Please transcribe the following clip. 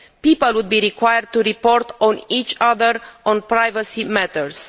People would be required to report on each other on privacy matters.